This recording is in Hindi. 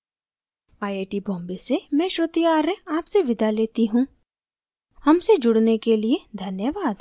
आई आई टी बॉम्बे से मैं श्रुति आर्य आपसे विदा लेती हूँ हमसे जुड़ने के लिए धन्यवाद